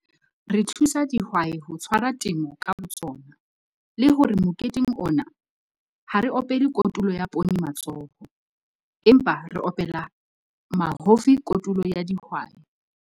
Re thusa dihwai ho tshwara temo ka botsona, le hore moketeng ona, ha re opele kotulo ya poone matsoho, empa re opela mahofi kotulo ya dihwai.